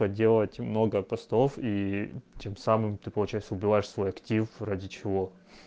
поделать много постов и тем самым ты получается убиваешь свой актив ради чего